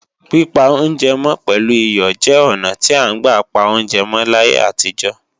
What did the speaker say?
Pípa oúnjẹ mọ́ pẹ̀lú iyọ̀ jẹ́ ọnà tí à ń gbà pa oúnjẹ mọ́ láti ayé àtijọ́